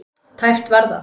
Tæpt var það.